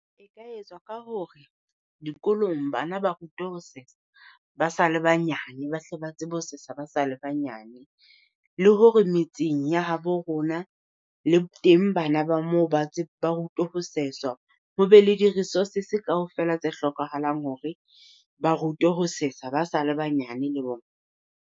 E ka etswa ka hore, dikolong bana ba rutwe ho sesa, ba sa le banyane ba hle ba tsebe ho sesa ba sa le banyane. Le hore metseng ya habo rona le teng bana ba moo ba ba rutwe ho sesa, ho be le di-resources kaofela tse hlokahalang hore ba rutwe ho sesa ba sa le banyane le bona.